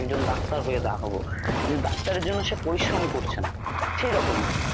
একজন ডাক্তার হয়ে দেখাবো ।ডাক্তারের জন্য সে পরিশ্রম করছেনা সে রকমই।